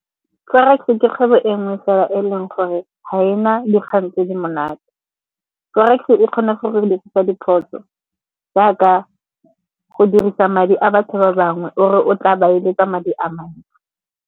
Forex-e ke kgwebo e nngwe fela e leng gore ga ena dikgang tse di monate. Forex-e e kgone go re dirisa diphoso jaaka go dirisa madi a batho ba bangwe o re o tla ba eletsa madi a mangwe.